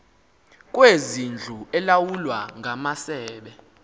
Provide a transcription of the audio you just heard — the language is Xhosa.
kwezindlu elawulwa ngamasebe